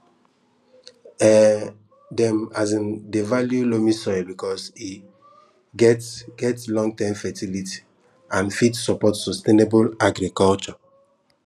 um dem um dey value loamy soil because e get get longterm fertility and fit support sustainable agriculture